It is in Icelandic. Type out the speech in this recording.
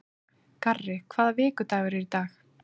Garri, hvaða vikudagur er í dag?